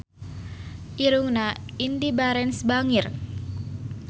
Irungna Indy Barens bangir